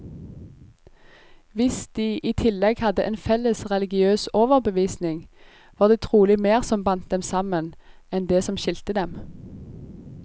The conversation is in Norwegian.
Hvis de i tillegg hadde en felles religiøs overbevisning, var det trolig mer som bandt dem sammen, enn det som skilte dem.